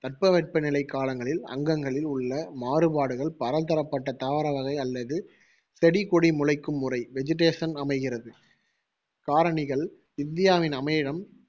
தட்பவெப்பநிலை காலங்களில் அங்கங்களில் உள்ள மாறுபாடுகள் பலதரப்பட்ட தாவர வகை அல்லது செடிகொடி முளைக்கும் முறை vegetation அமைகிறது காரணிகள் இந்தியாவின் அமைவிடம்,